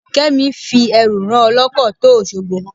Kẹ́mi fi ẹrù rán ọlọ́kọ̀ tó Òṣogbo.